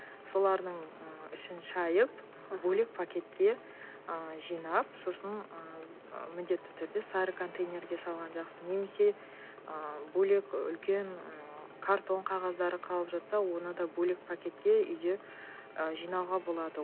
солардың ы ішін шайып бөлек пакетке ы жинап сосын ы міндетті түрде сары контейнерге салған жақсы немесе ы бөлек үлкен ммм картон қағаздары қалып жатса оны да бөлек пакетке үйде ы жинауға болады